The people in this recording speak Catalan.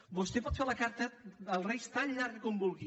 vostè pot fer la carta als reis tan llarga com vulgui